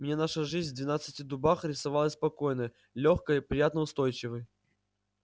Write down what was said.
мне наша жизнь в двенадцати дубах рисовалась спокойной лёгкой приятно-устойчивой